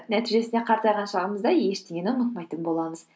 нәтижесінде қартайған шағымызда ештеңені ұмытпайтын боламыз